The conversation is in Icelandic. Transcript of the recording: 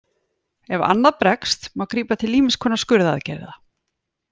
Ef annað bregst má grípa til ýmiss konar skurðaðgerða.